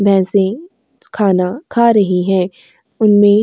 भैंसें खाना खा रही है उनमें --